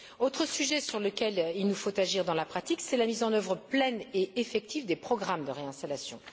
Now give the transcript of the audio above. Autre sujet sur lequel il nous faut agir dans la pratique la mise en œuvre pleine et effective des programmes de réinstallation.